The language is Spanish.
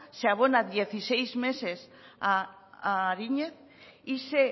se abona dieciséis meses a ariñe y se